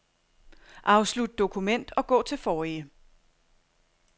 Afslut dokument og gå til forrige.